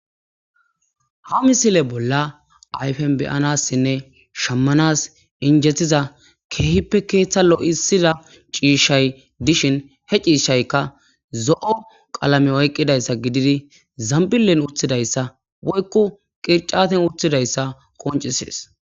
Ha misile bolla ayfen beyanassinne shammanas injethiza keehippe keeththa lo'isida ciishshay dishin he ciishaykka zo'o qalame oyqqidayssa gididi zambilen uthidayssa woykku qircaten uthidayssa qoncisees.